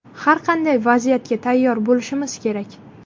Har qanday vaziyatga tayyor bo‘lishimiz kerak.